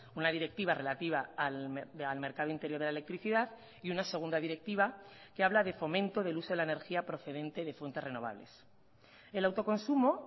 una directiva relativa al mercado interior de la electricidad y una segunda directiva que habla de fomento del uso de la energía procedente de fuentes renovables el autoconsumo